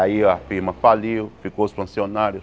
Aí a firma faliu, ficou os funcionários.